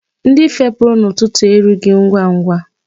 Ndị fepụrụ n'ụtụtụ erughị ngwangwa.